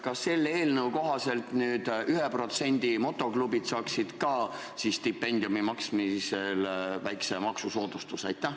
Kas selle eelnõu kohaselt nüüd 1% motoklubid saaksid ka siis stipendiumi maksmisel väikese maksusoodustuse?